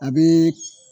A bɛ